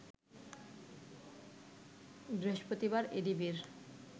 বৃহস্পতিবার এডিবির